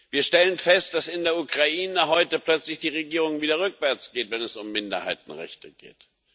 Wir stellen fest, dass in der Ukraine heute plötzlich die Regierung wieder rückwärts geht, wenn es um Minderheitenrechte geht.